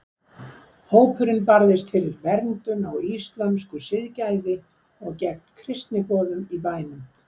Hópurinn barðist fyrir verndun á íslömsku siðgæði og gegn kristniboðum í bænum.